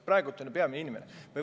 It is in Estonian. Praegu on ju peamine inimene.